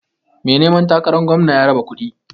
Mai neman takaran gwamna ya raba kuɗi.